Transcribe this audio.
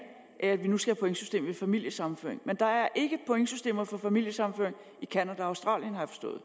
af at vi nu skal have pointsystem ved familiesammenføring men der er ikke pointsystemer for familiesammenføring i canada og australien har jeg forstået